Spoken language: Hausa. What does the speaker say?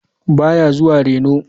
Ba ya zuwa reno.